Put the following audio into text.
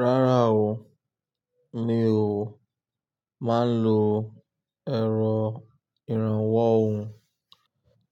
Rárá o, mi ò máa ń lo èrò ìrànwọ́ òhún,